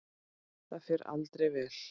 Það fer aldrei vel.